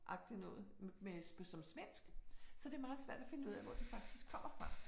Agtig noget med øh på svensk så det meget svært at finde ud af hvor det faktisk kommer fra